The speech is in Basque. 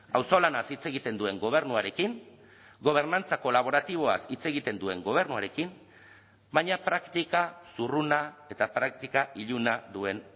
auzolanaz hitz egiten duen gobernuarekin gobernantza kolaboratiboaz hitz egiten duen gobernuarekin baina praktika zurruna eta praktika iluna duen